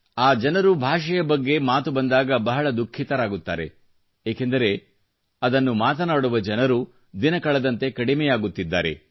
ಆ ಜನರು ಭಾಷೆಯ ಬಗ್ಗೆ ಮಾತು ಬಂದಾಗ ಬಹಳ ದುಃಖಿತರಾಗುತ್ತಾರೆ ಏಕೆಂದರೆ ಅದನ್ನು ಮಾತನಾಡುವ ಜನರು ದಿನ ಕಳೆದಂತೆ ಕಡಿಮೆಯಾಗುತ್ತಿದ್ದಾರೆ